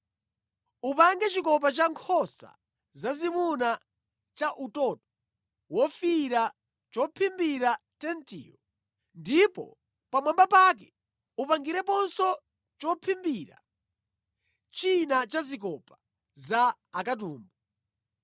Upange chikopa cha nkhosa zazimuna cha utoto wofiira chophimbira tentiyo ndipo pamwamba pake upangireponso chophimbira china cha zikopa za akatumbu.